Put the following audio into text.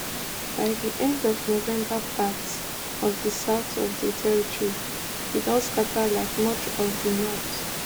by di end of november parts of di south of di territory bin don scata like much of di north